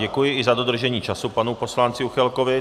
Děkuji i za dodržení času panu poslanci Juchelkovi.